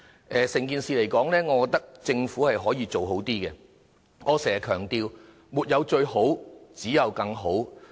就整件事而言，我認為政府可以做好一點；正如我經常強調，沒有最好，只有更好。